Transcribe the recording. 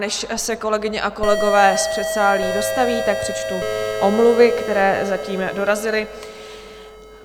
Než se kolegyně a kolegové z předsálí dostaví, tak přečtu omluvy, které zatím dorazily.